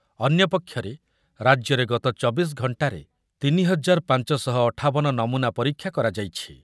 ଅନ୍ୟପକ୍ଷରେ ରାଜ୍ୟରେ ଗତ ଚବିଶି ଘଣ୍ଟାରେ ତିନି ହଜାର ପାଞ୍ଚ ଶହ ଅଠାବନ ନମୁନା ପରୀକ୍ଷା କରାଯାଇଛି ।